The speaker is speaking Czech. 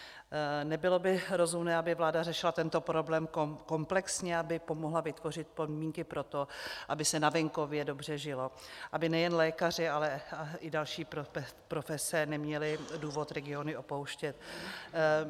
Nebylo by rozumné, aby vláda řešila tento problém komplexně, aby pomohla vytvořit podmínky pro to, aby se na venkově dobře žilo, aby nejen lékaři, ale i další profese neměli důvod regiony opouštět?